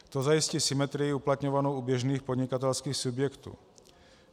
To zajistí symetrii uplatňovanou u běžných podnikatelských subjektů.